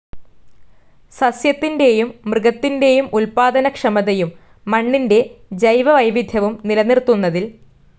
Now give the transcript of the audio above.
സസ്യത്തിന്റേയും മൃഗത്തിന്റേയും ഉൽപ്പാദനക്ഷമതയും മണ്ണിന്റെ ജൈവവൈവിധ്യവും നിലനിർത്തുന്നതിൽ